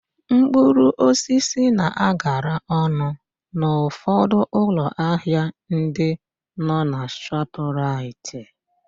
Mkpụrụosisi na-agala ọnụ n'ụfọdụ ụlọ ahịa ndị nọ na Shọpraịt.